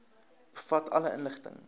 bevat alle inligting